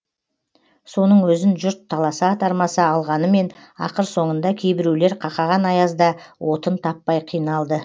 соның өзін жұрт таласа тармаса алғанымен ақыр соңында кейбіреулер қақаған аязда отын таппай қиналды